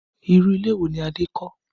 Irú ilé wo ni Adé kọ́?